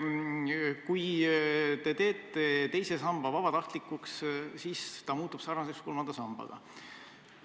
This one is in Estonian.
Kui te teete teise samba vabatahtlikuks, siis see muutub sarnaseks kolmanda sambaga.